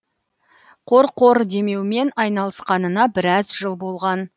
қорқор демеумен айналысқанына біраз жыл болған